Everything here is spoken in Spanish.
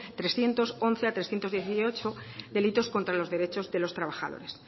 trescientos once a trescientos dieciocho delitos contra los derechos de los trabajadores